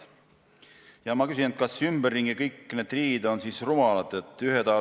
Ja ma küsin: kas ümberringi kõik need riigid on siis rumalad?